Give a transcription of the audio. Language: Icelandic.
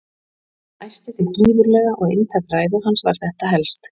Hann æsti sig gífurlega og inntak ræðu hans var þetta helst